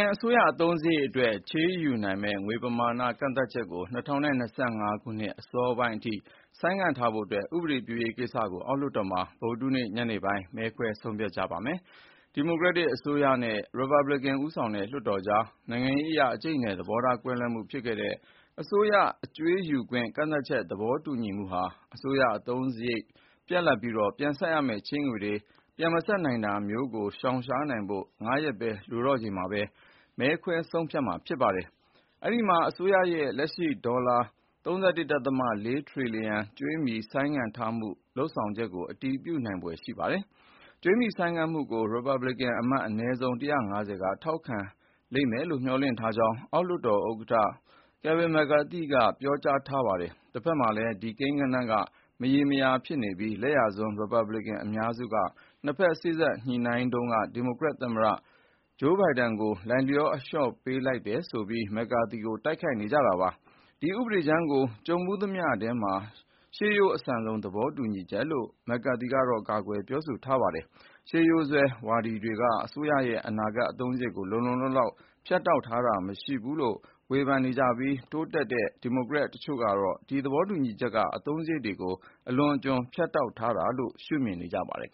န်အစိုးရအသုံးစရိတ်အတွက် ချေးယူနိုင်မယ့် ငွေပမာဏ ကန့်သတ်ချက်ကို ၂၀၂၅ ခုနှစ် အစောပိုင်းအထိ ဆိုင်းငံ့ထားဖို့အတွက် ဥပဒေပြုရေးကိစ္စကို အောက်လွှတ်တော်မှာ ဗုဒ္ဓဟူးနေ့ ညနေပိုင်း မဲခွဲဆုံးဖြတ်ကြပါမယ်။ ဒီမိုကရက်တစ်အစိုးရနဲ့ ရီပတ်ဘလင်ကန် ဦးဆောင်တဲ့ လွှတ်တော်ကြား နိုင်ငံရေးအရအကြိတ်အနယ် သဘောထားကွဲမှုဖြစ်ခဲ့တဲ့ အစိုးရအကြွေးယူခွင့် ကန့်သတ်ချက်သဘောတူညီမှုဟာ အစိုးရအသုံးစရိတ်တွေ ပြတ်လပ်ပြီး ပြန်ဆပ်ရမယ့်ချေးငွေတွေ ပြန်မဆပ်နိုင်တာမျိုးကို ရှောင်နိုင်ဖို့ ၅ ရက်ပဲ လိုတော့ချိန်မှာ မဲခွဲဆုံးဖြတ်မှာ ဖြစ်ပါတယ်။ အဲဒီမှာအစိုးရရဲ့ လက်ရှိဒေါ်လာ ၃၁.၄ ထရီလီယံကြွေးမြီ ဆိုင်းငံ့ထားမှု လုပ်ဆောင်ချက်ကို အတည်ပြုနိုင် ဖွယ်ရှိပါတယ်။ ကြွေးမြီဆိုင်းငံ့မှုကို ရီပတ်ဘလစ်ကန်အမတ် အနည်းဆုံး ၁၅၀ က ထောက်ခံလိမ့်မယ်လို့ မျှော်လင့်ကြောင်း အောက်လွှတ်တော် ဥက္ကဋ္ဌ ကယ်ဗင်မက်ကာသီက ပြောထားပါတယ်။ တဖက်မှာလည်း ဒီ ကိန်းဂဏန်းက မရေရာဖြစ်နေပြီး လက်ယာစွန်းရီပတ်ဘလစ်ကန် အများစုကနှစ်ဖက် စေ့စပ်ညှိနှိုင်းတုန်းက ဒီမိုကရက်တစ် သမ္မတ ဂျိုးဘိုင်ဒန်ဘက်ကို လိုက်လျောအလျော့ပေးလိုက်တယ် ဆိုပြီးမက်ကာသီကို တိုက်ခိုက် နေကြတာပါ။ ဒီဥပဒေကြမ်းကို "ကြုံဖူးသမျှထဲမှာ ရှေးရိုးအဆန်ဆုံး သဘောတူညီချက်" လို့ မက်ကာကီကတော့ ကာကွယ်ပြောဆိုထားပါတယ်။ ရှေးရိုးစွဲဝါဒီတွေက အစိုးရရဲ့ အနာဂတ် အသုံးစရိတ်ကို လုံလုံလောက်လောက် ဖြတ်တောက်ထားတာ မရှိဘူးလို့ ဝေဖန်နေကြပြီး တိုးတက်တဲ့ ဒီမိုကရက် တချို့ကလည်း ဒီသဘောတူညီချက်က အသုံးစရိတ်တွေကို အလွန်အကျွံ ဖြတ်တောက်ထားတယ်လို့ ရှုမြင်နေကြပါတယ်။